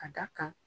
Ka da kan